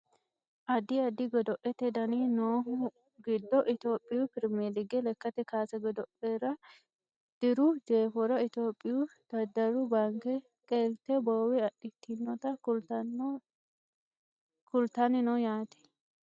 Addi addi godo'lete dani noohu giddo Itiyophiyu pirimeelige lekkate kaase godo'lera diru jeefora Itiyophiyu daddalu baanke qeelte boowe adhitinota kultanni no yaate